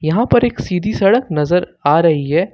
यहां पर एक सीधी सड़क नजर आ रही है।